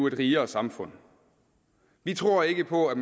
et rigere samfund vi tror ikke på at